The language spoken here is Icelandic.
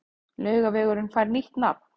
Laugavegurinn fær nýtt nafn